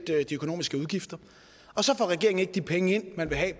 de økonomiske udgifter så får regeringen ikke de penge ind man vil have